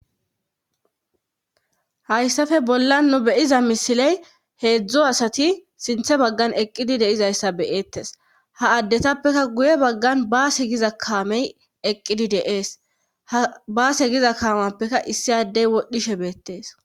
Hayssafe bolla nu beyiza misiley heedzdzo asati sinthe baggan eqqidi deizayssa beyeettes ha addetappekka guye baggan baase giza kaamey eqqidi deees h baase giza kaamappekka issi addey wodhdhishe beettees